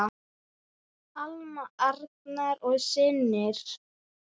Alma, Arnar og synir.